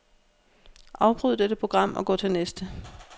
Afbryd dette program og gå til næste.